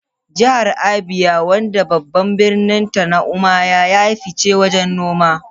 Jihar Abia, wadda babban birninta ne Umuahia, ya yi fice wajen noma.